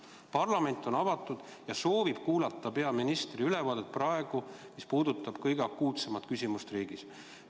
Parlament on avatud ja soovib kuulata peaministri ülevaadet, mis puudutab kõige akuutsemat küsimust riigis.